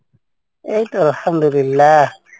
এইতো আলহামদুলিল্লা।